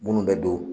Minnu bɛ don